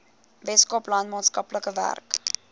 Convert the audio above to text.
weskaapland maatskaplike werk